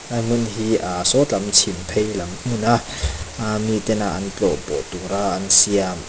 lai hmun hi ahh saw lam chhim phei lam hmuna ahhmi tena an tlawhpawh tûra an siam a--